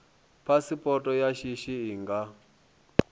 phasipoto ya shishi i nga